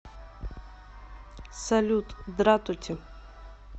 салют дратути